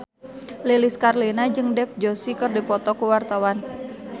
Lilis Karlina jeung Dev Joshi keur dipoto ku wartawan